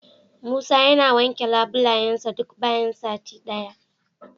Musa yana wanke labulayensa duk bayan sati daya.